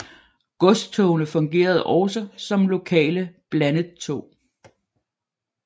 Godstogene fungerede også som lokale blandettog